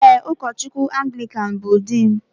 Ee, ụkọchukwu Anglikan bụ di m